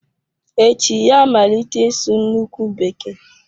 Echi ya-amalite ịsụ nnukwu bekee.